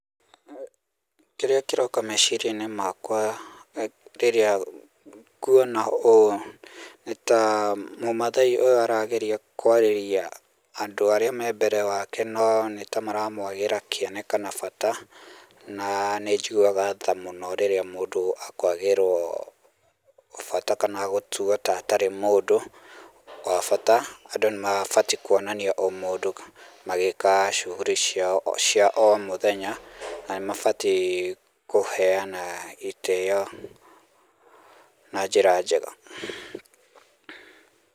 Kĩrĩa kĩroka meciria-inĩ makwa rĩrĩa nguona ũũ, nĩta mũmathai ũyũ arageria kwarĩria andũ arĩa me mbere yake no nĩtamaramwagĩra kĩene kana bata. Na nĩnjiguaga tha mũno rĩrĩa mũndũ akwagĩrwo bata kana gũtuo ta atarĩ mũndũ wa bata. Andũ nĩmabatiĩ kwonania ũmũndũ magĩka shughuli cia o mũthenya na nĩmabatiĩ kũheana itĩyo na njĩra njega.